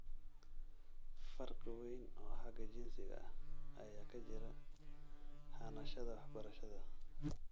Farqi weyn oo xagga jinsiga ah ayaa ka jira hanashada waxbarashada .